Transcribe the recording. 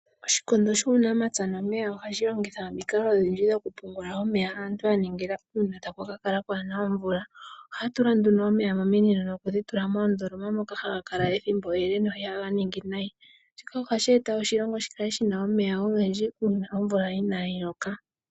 Oshikondo shuunamapya nuuniimuna ohashi longitha omikalo odhindji dhokupungula omeya aantu ya ningila uuna taku kala kaa ku na omvula. Ohaya tula nduno omeya mominino nokudhitula moondoloma moka haga kala ethimbo ele no ihaga ningi nayi. Shika ohashi eta oshilongo shi kale shi na omeya ogendji uuna omvula inaayi loka.